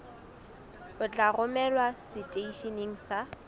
o tla romelwa seteisheneng sa